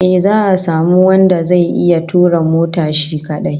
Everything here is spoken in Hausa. Eh, za'a samu wanda zai iya tura mota shi kadai